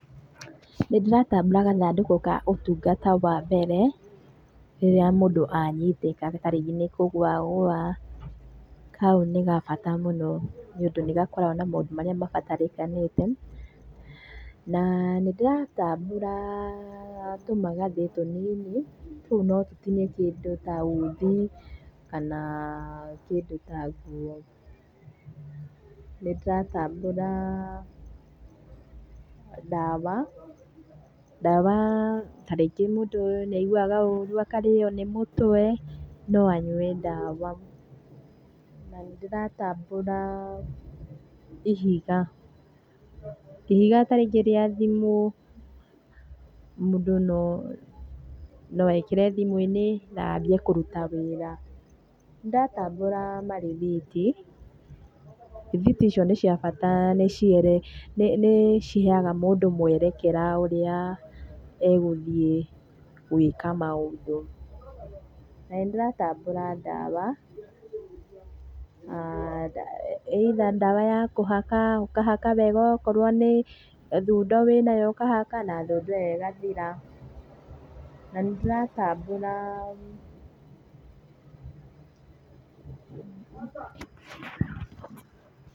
Nĩ ndĩratambũra gathandũkũ ka ũtungata wa mbere rĩrĩa mũndũ anyitĩka ta rĩngĩ nĩ kũgũa agũa, kau nĩ gabata mũno nĩũndũ nĩ gakoragwo na maũndũ marĩa mabatarĩkanĩte na nĩndĩratambũra tũmagathĩ tũnini tũu no tũtinie kĩndũ ta uthi kana kĩndũ ta nguo. Nĩ ndĩratambũra ndawa, ndawa ta rĩngĩ mũndũ nĩ aiguaga ũru akarĩo nĩ mũtwe, no anyue ndawa. Na nĩndĩratambũra ihiga, ihiga ta rĩngĩ rĩa thimũ, mũndũ no ekĩre thimũ-inĩ na yambie kuruta wĩra. Nĩ ndĩratambũra marĩthiti, rĩthiti icio nĩ cia bata nĩciheaga mũndũ mwerekera ũrĩa egũthiĩ gwĩka maũndũ. Nĩ ndĩratambũra ndawa either ndawa ya kũhaka ũkahaka wega okorwo nĩ thundo wĩnayo ũkahaka na thundo ĩyo ĩgathira. Na nĩ ndĩratambũra.